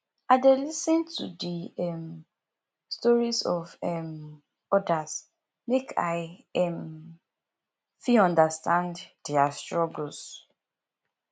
i dey lis ten to di um stories of um odas make i um fit understand dia struggles